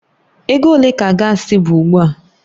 Ego ole ka gaasi bụ ugbu a?